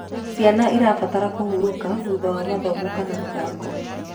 Ciana irabatara kũhũrũka thutha wa mathomo kana mithako